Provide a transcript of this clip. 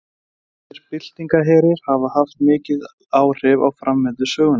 Ýmsir byltingarherir hafa haft mikil áhrif á framvindu sögunnar.